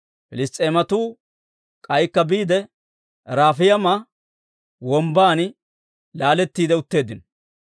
Piliss's'eematuu k'aykka biide, Rafayma Wombban laalettiide utteeddino.